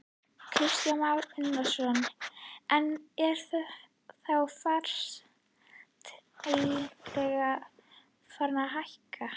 Kristján Már Unnarsson: En er þá fasteignaverð farið að hækka?